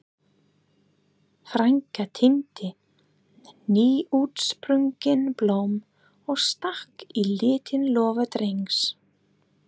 Frænka tíndi nýútsprungin blóm og stakk í lítinn lófa Drengs.